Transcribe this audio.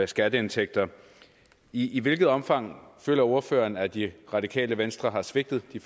skatteindtægter i i hvilket omfang føler ordføreren at det radikale venstre har svigtet de